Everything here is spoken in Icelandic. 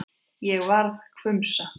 Ég varð hvumsa.